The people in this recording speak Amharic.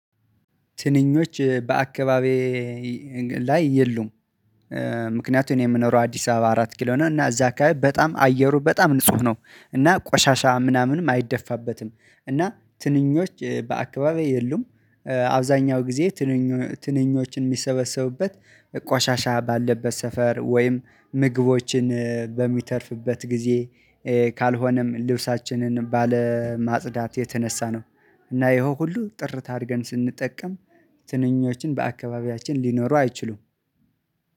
ትንኞች በአካባቢዬ ላይ የሉም። ምክንያቱም የምኖረው አዲስ አበባ አራት ኪሎ ነው እና እዛ አካባቢ በጣም አየሩ በጣም ንጹህ ነው እና ቆሻሻ ምናምንም አይደፋበትም እና ትንኞች በአካባቢው የሉም አብዛኛው ጊዜ ትንኞችን የሚሰበሰቡበት ባለበት ሰፈር ወይም ምግቦችን በሚተርፍበት ጊዜ ካልሆነም ልብሳችንን ባለማጽዳት የተነሳ ነው እና ይሄው ሁሉ ጥርት አድርገን ስንጠቀም ትንኞችን በአካባቢያችን ሊኖሩ አይችሉም።